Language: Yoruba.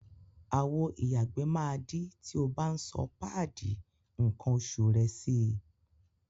Àwo ìyàgbẹ́ máa dí tí o bá ń sọ páàdì nǹkan oṣù rẹ sí i.